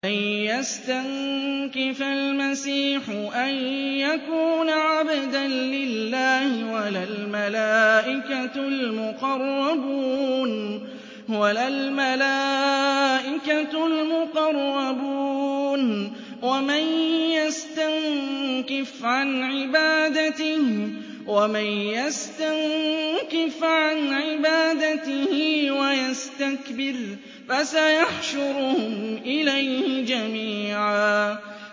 لَّن يَسْتَنكِفَ الْمَسِيحُ أَن يَكُونَ عَبْدًا لِّلَّهِ وَلَا الْمَلَائِكَةُ الْمُقَرَّبُونَ ۚ وَمَن يَسْتَنكِفْ عَنْ عِبَادَتِهِ وَيَسْتَكْبِرْ فَسَيَحْشُرُهُمْ إِلَيْهِ جَمِيعًا